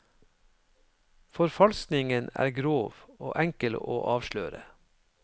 Forfalskningen er grov, og enkel å avsløre.